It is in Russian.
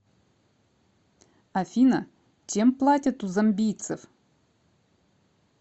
афина чем платят у замбийцев